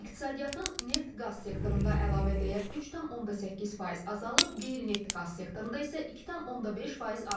İqtisadiyyatın neft-qaz sektorunda əlavə dəyər 3,8% azalıb, qeyri-neft qaz sektorunda isə 2,5% artıb.